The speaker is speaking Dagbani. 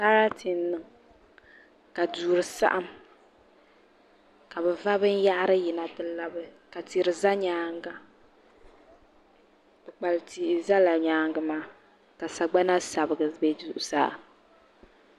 Sarati n niŋ ka duri saɣam ka bi va binyahari yina ti labi ka kpukpali tihi ʒɛ nyaangi maa ka sagbana sabigi bɛ zuɣusaa